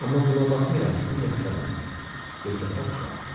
Amma buna baxmayaraq sən yaxşı adamsan, yekəpər uşaq.